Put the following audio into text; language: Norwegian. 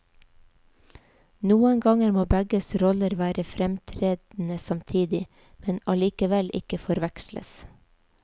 Noen ganger må begge roller være fremtredende samtidig, men allikevel ikke forveksles.